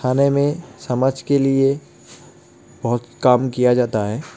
थाने मे समाज के लिए बोहत काम किया जाता हे.